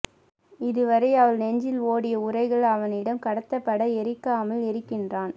இதுவரை அவள் நெஞ்சில் ஓடிய உரைகள் அவனிடம் கடத்தப்பட எரிக்காமல் எரிகின்றான்